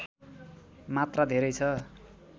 मात्रा धेरै छ